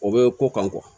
O bɛ ko kan